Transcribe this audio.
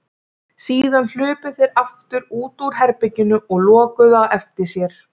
Síðan hlupu þeir aftur út úr herberginu og lokuðu á eftir sér.